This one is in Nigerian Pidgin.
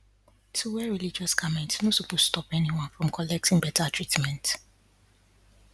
to wear religious garment no supose stop anyone from collecting better treatment